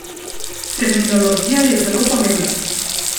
Terminologija je zelo pomembna.